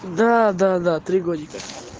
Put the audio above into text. да-да-да три годика